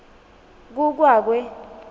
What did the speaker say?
ku kwa kwe